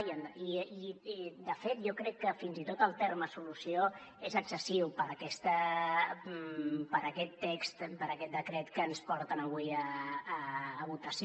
i de fet jo crec que fins i tot el terme solució és excessiu per aquest text per aquest decret que ens porten avui a votació